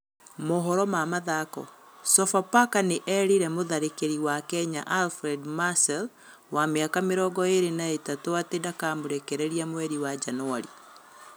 (Mohoro ma Mathako) Sofapaka nĩ eerire mũtharĩkeri wa Kenya, Alfred Marcel, wa mĩaka mĩrongo ĩĩrĩ na ĩtatũ atĩ dakamũrekereria mweri wa Januari.